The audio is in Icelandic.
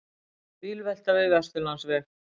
Bílvelta við Vesturlandsveg